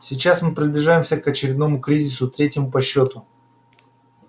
сейчас мы приближаемся к очередному кризису третьему по счёту